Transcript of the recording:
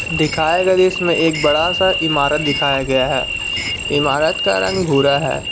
दिखाया गया इसमें एक बड़ा सा इमारत दिखाया गया है इमारत का रंग भूरा है।